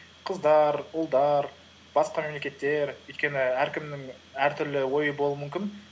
қыздар ұлдар басқа мемлекеттер өйткені әркімнің әртүрлі ойы болуы мүмкін